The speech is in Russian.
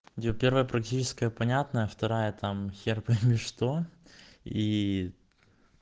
где первая практическая понятная вторая там хер пойми что и